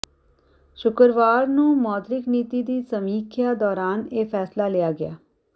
ਸ਼ੁੱਕਰਵਾਰ ਨੂੰ ਮੌਦਰਿਕ ਨੀਤੀ ਦੀ ਸਮੀਖਿਆ ਦੌਰਾਨ ਇਹ ਫ਼ੈਸਲਾ ਲਿਆ ਗਿਆ